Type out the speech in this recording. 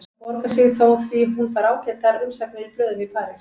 Það borgar sig þó því hún fær ágætar umsagnir í blöðum í París.